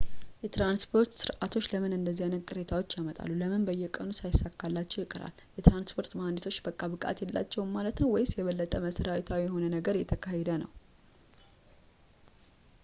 የትራንስፖርት ስርዓቶች ለምን እንደዚህ አይነት ቅሬታዎች ያመጣሉ ፣ ለምን በየቀኑ ሳይሳካላቸው ይቀራል? የትራንስፖርት መሐንዲሶች በቃ ብቃት የላቸውም ማለት ነው? ወይም የበለጠ መሠረታዊ የሆነ ነገር እየተካሄደ ነው?